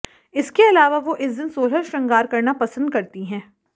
इसके अलावा वो इस दिन सोलह श्रृंगार करना पसंद करती हैं